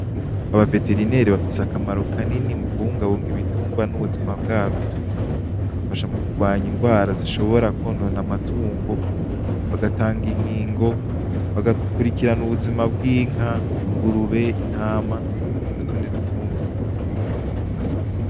Aba veterineri bafise akamaro kanini muku bungabunga ibitunrwa n'ubuzima bwavyo. Bafasha mukurwanya ingwara zishobora kwonona amatungo ,bagatanga inkingo ,bagakurikirana ubuzima bw'inka ,ingurube, intama, n'utundi dutunrwa.